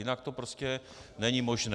Jinak to prostě není možné.